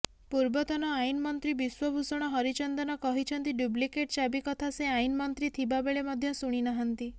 ପୂର୍ବତନ ଆଇନମନ୍ତ୍ରୀ ବିଶ୍ୱଭୂଷଣ ହରିଚନ୍ଦନ କହିଛନ୍ତି ଡୁପ୍ଲିକେଟ ଚାବି କଥା ସେ ଆଇନମନ୍ତ୍ରୀ ଥିବା ବେଳେ ମଧ୍ୟ ଶୁଣିନାହାନ୍ତି